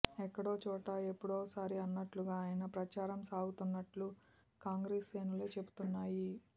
ఎక్కడోచోట ఎప్పుడోసారి అన్నట్లుగా ఆయన ప్రచారం సాగుతున్నట్టు కాం గ్రెస్ శ్రేణులే చెబుతున్నాయి